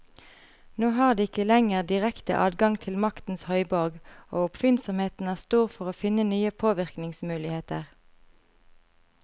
Nå har de ikke lenger direkte adgang til maktens høyborg, og oppfinnsomheten er stor for å finne nye påvirkningsmuligheter.